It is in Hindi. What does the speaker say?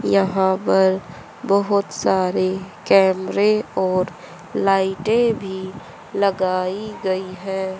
यहाँ पर बहुत सारी कैमरे और लाइटें भी लगाई गई हैं।